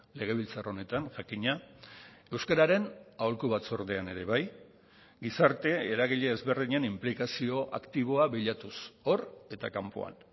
legebiltzar honetan jakina euskararen aholku batzordean ere bai gizarte eragile ezberdinen inplikazio aktiboa bilatuz hor eta kanpoan